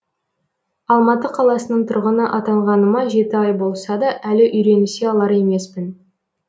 алматы қаласының тұрғыны атанғаныма жеті ай болса да әлі үйренісе алар емеспін